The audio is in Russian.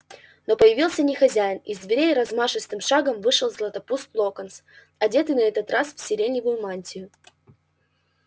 но появился не хозяин из дверей размашистым шагом вышел златопуст локонс одетый на этот раз в сиреневую мантию